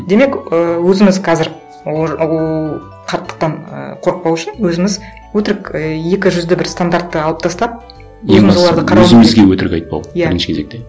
демек і өзіміз қазір ол қарттықтан і қорықпау үшін өзіміз өтірік ы екі жүзді бір стандартты алып тастап өзімізге өтірік айтпау иә бірінші кезекте